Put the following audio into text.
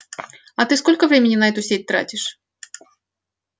а ты сколько времени на эту сеть тратишь